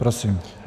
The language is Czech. Prosím.